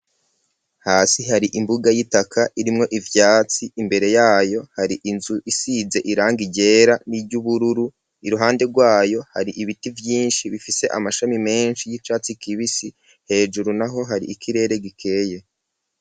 Hasi hari imbuga y'itaka irimwo ivyatsi imbere yayo hari inzu isize irangi ryera n'iryubururu iruhande rwayo hari ibiti vyinshi bifise amashami meshi y'icatsi kibisi hejuru naho hari ikirere gikeye